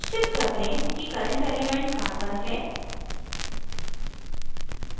निश्चित कर लें कि current element carbon है